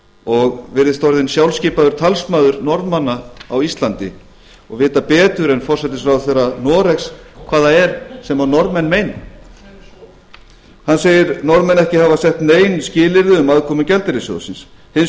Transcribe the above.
og virðist orðinn sjálfskipaður talsmaður norðmanna á íslandi og vita betur en forsætisráðherra noregs hvað það er sem norðmenn meina hann segir norðmenn ekki hafa sett nein skilyrði um aðkomu alþjóðagjaldeyrissjóðsins hins